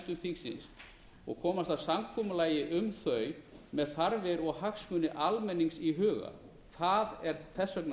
í nefndum þingsins og komast að samkomulagi um þau með þarfir og hagsmuni almennings í huga það er þess